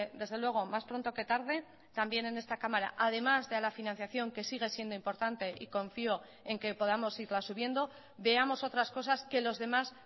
desde luego más pronto que tarde también en esta cámara además de a la financiación que sigue siendo importante y confío en que podamos irla subiendo veamos otras cosas que los demás